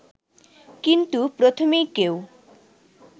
কিন্তু প্রথমেই কেউ